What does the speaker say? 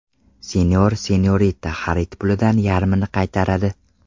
Senor&Senorita xarid pulidan yarmini qaytaradi!.